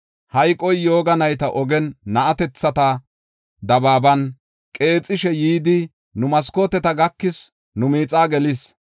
Hayqoy yooga nayta ogen, na7atethata dabaaban qeexishe yidi, nu maskooteta gakis; nu miixaa gelis.